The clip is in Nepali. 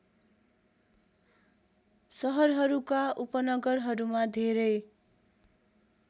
सहरहरूका उपनगरहरूमा धेरै